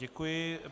Děkuji.